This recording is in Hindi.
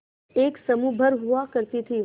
एक समूह भर हुआ करती थी